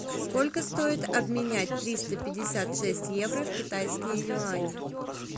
сколько стоит обменять триста пятьдесят шесть евро в китайские юани